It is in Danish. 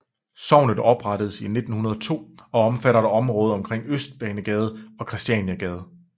Sognet oprettedes 1902 og omfatter et område omkring Østbanegade og Kristianiagade